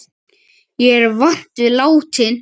Ég er vant við látinn.